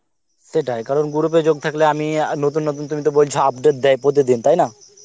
সেটাই কারণ group এ যোগ থাকলে আমি নতুন নতুন তুমি ত বলচ update দেয় প্রতিদিন তাইনা